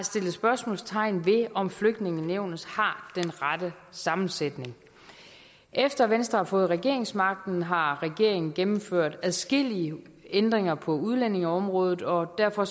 spørgsmålstegn ved om flygtningenævnet har den rette sammensætning efter at venstre har fået regeringsmagten har regeringen gennemført adskillige ændringer på udlændingeområdet og derfor